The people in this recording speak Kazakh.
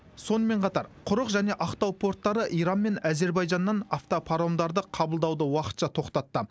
сонымен қатар құрық және ақтау порттары иран мен әзербайжаннан автопаромдарды қабылдауды уақытша тоқтатты